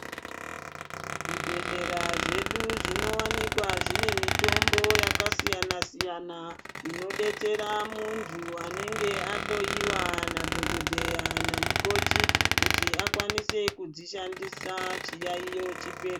Zvibhehlera zvedu zvinowanikwa zvine mitombo yakasiyana siyana inodetsera muntu anenge ahloyiwa nadhokodheya namukoti kuti akwanise kudzishandisa chiyayiyo chipere